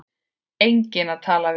Enginn að tala við.